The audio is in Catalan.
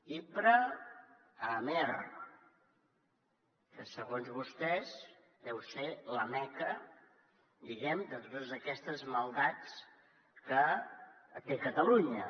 hipra a amer que segons vostès deu ser la meca diguem ne de totes aquestes maldats que té catalunya